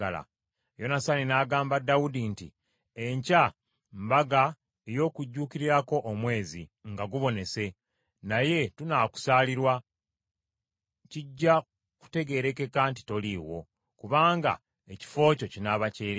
Yonasaani n’agamba Dawudi nti, “Enkya mbaga ey’okujuukirirako omwezi nga gubonese, naye tunaakusaalirwa, kijja kutegeerekeka nti toliiwo, kubanga ekifo kyo kinaaba kyereere.